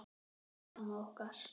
Bless amma okkar.